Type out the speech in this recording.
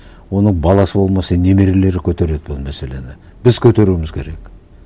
оның баласы болмаса немерелері көтереді бұл мәселені біз көтеруіміз керек